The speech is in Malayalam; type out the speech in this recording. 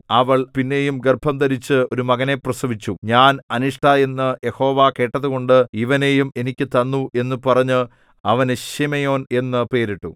അവൾ പിന്നെയും ഗർഭംധരിച്ചു ഒരു മകനെ പ്രസവിച്ചു ഞാൻ അനിഷ്ട എന്നു യഹോവ കേട്ടതുകൊണ്ട് ഇവനെയും എനിക്ക് തന്നു എന്നു പറഞ്ഞ് അവന് ശിമെയോൻ എന്നു പേരിട്ടു